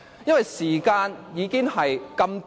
因為時間已經這麼短。